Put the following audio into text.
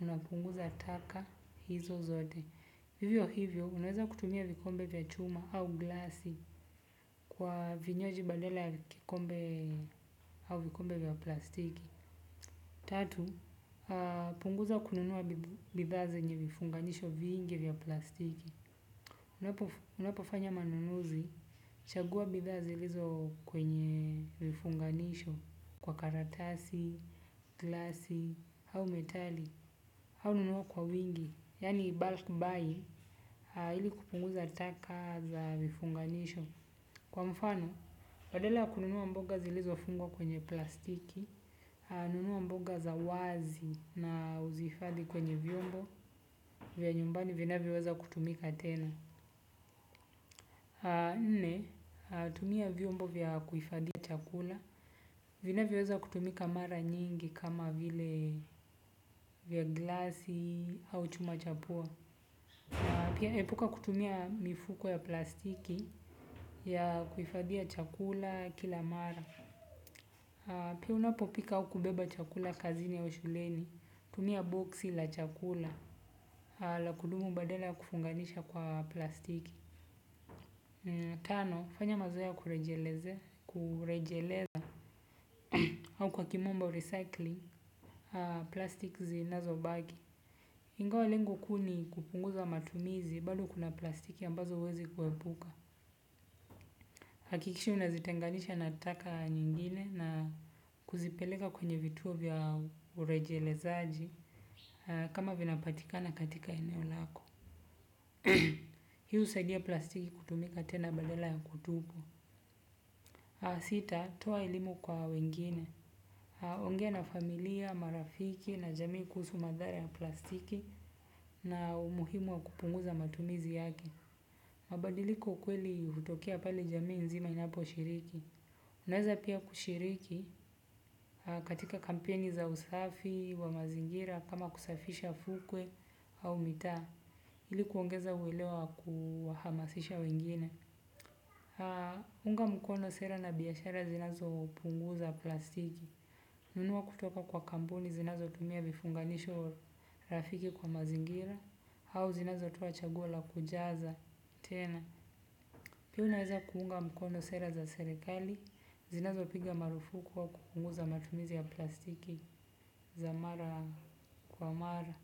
unapunguza taka hizo zote. Hivyo hivyo, unaweza kutumia vikombe vya chuma au glasi kwa vinywaji badala ya vikombe au vikombe vya plastiki. Tatu, punguza kununua bidhaa zenye vifunganisho vingi vya plastiki. Unapofanya manunuzi, chagua bidhaa zilizo kwenye vifunganisho kwa karatasi, glasi au metali. Au nunua kwa wingi, yani bulk buy, ili kupunguza taka za vifunganisho. Kwa mfano, badala ya kununua mboga zilizofungwq kwenye plastiki, nunua mboga za wazi na uzihifadhi kwenye vyombo vya nyumbani vinavyoweza kutumika tena. Nne, tumia vyombo vya kuifadhi chakula, vinavyoweza kutumika mara nyingi kama vile vya glasi au chuma cha pua. Pia epuka kutumia mifuko ya plastiki ya kuifadhia chakula kila mara. Pia unapopika au kubeba chakula kazini au shuleni, tumia boksi la chakula, la kudumu badala ya kufunganisha kwa plastiki. Tano, fanya mazoea ya kurejeleza, au kwa kimombo recycling, plastic zinazobaki. Ingawa lengo kuu ni kupunguza matumizi, bali kuna plastiki ambazo uwezi kuhepuka. Hakikisha unazitenganisha na taka nyingine na kuzipeleka kwenye vituo vya urejelezaji kama vinapatikana katika eneo lako. Hii husadia plastiki kutumika tena badala ya kutupwa. Sita, toa elimu kwa wengine. Ongea na familia, marafiki na jamii kuhusu madhara ya plastiki na umuhimu wa kupunguza matumizi yake. Mabadiliko kweli hutokea pale jamii nzima inaposhiriki. Unaweza pia kushiriki katika kampeni za usafi wa mazingira kama kusafisha fukwe au mitaa, ili kuongeza uelewa wa kuhamasisha wengine. Unga mkono sera na biashara zinazopunguza plastiki. Nunuwa kutoka kwa kampuni zinazotumia vifunganisho rafiki kwa mazingira, au zinazotowa chaguo la kujaza tena. Pia unaeza kuunga mkono sera za serekali, zinazopiga marufuku au kupunguza matumizi ya plastiki za mara kwa mara.